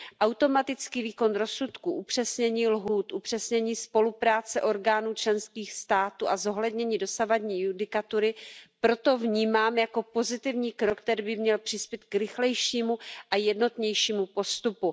Automatický výkon rozsudku, upřesnění lhůt, upřesnění spolupráce orgánů členských států a zohlednění dosavadní judikatury proto vnímám jako pozitivní krok, který by měl přispět k rychlejšímu a jednotnějšímu postupu.